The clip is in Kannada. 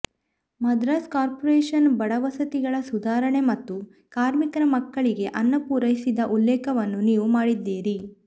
ಮದ್ರಾಸ್ ಕಾರ್ಪೊರೇಶನ್ ಬಡವಸತಿಗಳ ಸುಧಾರಣೆ ಮತ್ತು ಕಾರ್ಮಿಕರ ಮಕ್ಕಳಿಗೆ ಅನ್ನ ಪೂರೈಸಿದ ಉಲೇಖವನ್ನು ನೀವು ಮಾಡಿದ್ದೀರಿ